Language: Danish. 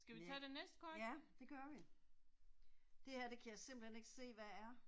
Næ, ja, det gør vi. Det her det kan jeg simpelthen ikke se hvad er